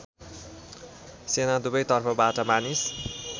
सेना दुवैतर्फबाट मानिस